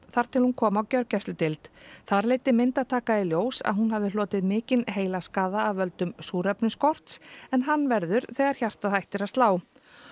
þar til hún kom á gjörgæsludeild þar leiddi myndataka í ljós að hún hafði hlotið mikinn heilaskaða af völdum súrefnisskorts en hann verður þegar hjartað hættir að slá